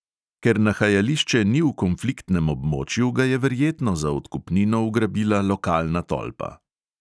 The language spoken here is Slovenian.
Ker nahajališče ni v konfliktnem območju, ga je verjetno za odkupnino ugrabila lokalna tolpa.